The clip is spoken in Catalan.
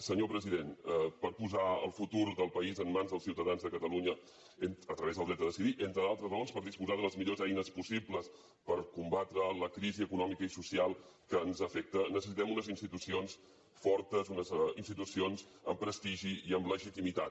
senyor president per posar el futur del país en mans dels ciutadans de catalunya a través del dret a decidir entre d’altres raons per disposar de les millors eines possibles per combatre la crisi econòmica i social que ens afecta necessitem unes institucions fortes unes institucions amb prestigi i amb legitimitat